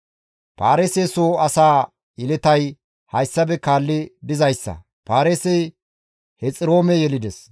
Paareese soo asaa yeletay hayssafe kaalli dizayssa; Paareesey Hexiroome yelides;